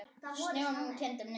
Snjónum kyngdi niður.